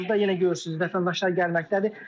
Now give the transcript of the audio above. Hazırda yenə görürsünüz, vətəndaşlar gəlməkdədir.